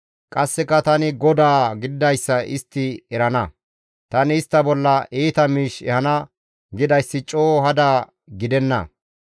Qasseka tani GODAA gididayssa istti erana; tani istta bolla iita miish ehana gidayssi coo hada gidenna.